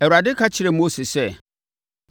Awurade ka kyerɛɛ Mose sɛ,